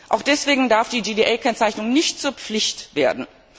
Auch deswegen darf die GDA Kennzeichnung nicht zur Pflicht werden.